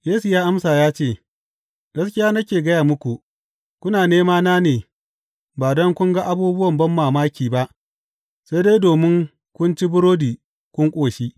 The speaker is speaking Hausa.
Yesu ya amsa ya ce, Gaskiya nake gaya muku, kuna nemana ne ba don kun ga abubuwan banmamaki ba, sai dai domin kun ci burodi kun ƙoshi.